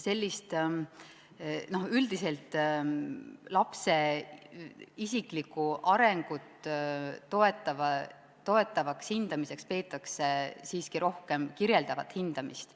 Üldiselt lapse isiklikku arengut toetavaks hindamiseks peetakse siiski rohkem kirjeldavat hindamist.